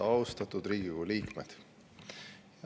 Austatud Riigikogu liikmed!